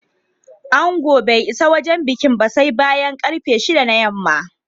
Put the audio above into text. Angon bai isa wajen bikin ba sai bayan ƙarfe shida na yamma